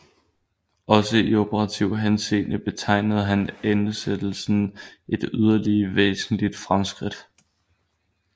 Også i operativ henseende betegnede hans ansættelse et yderligere væsentligt fremskridt